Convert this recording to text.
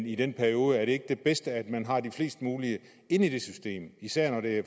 i den periode ikke det bedste at man har flest mulige inde i det system især når det